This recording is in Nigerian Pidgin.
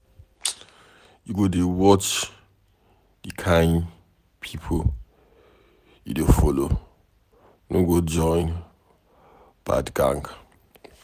You go dey watch the kin people you dey follow, no go join bad gang.